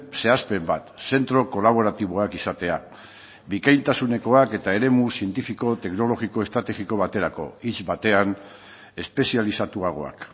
zehazpen bat zentro kolaboratiboak izatea bikaintasunekoak eta eremu zientifiko teknologiko estrategiko baterako hitz batean espezializatuagoak